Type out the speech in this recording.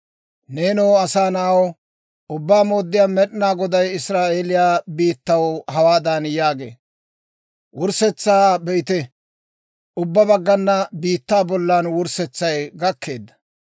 «Neenoo asaa na'aw, Ubbaa Mooddiyaa Med'inaa Goday Israa'eeliyaa biittaw hawaadan yaagee; ‹Wurssetsaa be'ite! Ubbaa baggaana biittaa bollan wurssetsay gakkeedda.